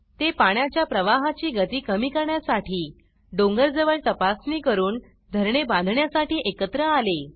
ते पाण्याच्या प्रवाहाची गती कमी करण्यासाठी डोंगर जवळ तपासणी करून धरणे बांधण्यासाठी एकत्र आले